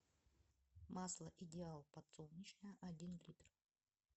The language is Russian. масло идеал подсолнечное один литр